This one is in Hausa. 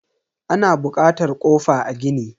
Ana bukatar kofa a gini.